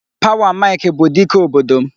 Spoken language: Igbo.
Power Mike bụ dike obodo m.